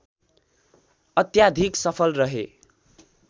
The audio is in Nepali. अत्याधिक सफल रहे